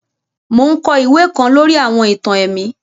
Mo n kọ iwe kan lori àwọn ìtàn ẹ̀mí